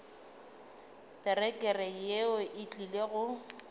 terekere yeo e tlile go